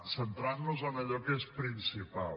centrant nos en allò que és principal